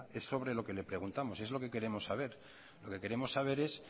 es sobre lo que preguntamos es lo que queremos saber lo que queremos saber es